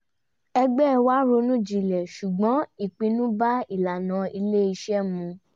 ẹgbẹ́ wá ronú jinlẹ̀ ṣùgbọ́n ìpinnu bá ìlànà ilé-iṣẹ́ mu